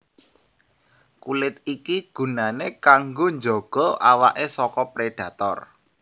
Kulit iki gunané kanggo njaga awaké saka prédhator